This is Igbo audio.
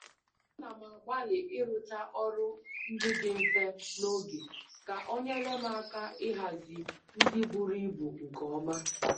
A na m agbali irucha ọrụ ndị dị mfe n'oge ka o nyere m aka ịhazi ndị buru ibu nkeoma